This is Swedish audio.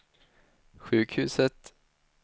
sjukhuset